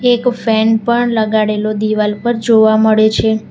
એક ફેન પણ લગાડેલો દિવાલ પર જોવા મળે છે.